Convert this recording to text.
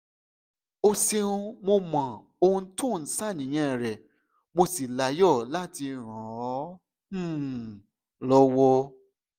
o ṣeun mo mọ ohun tó ń ṣàníyàn rẹ mo sì láyọ̀ láti ràn ọ́ um lọ́wọ́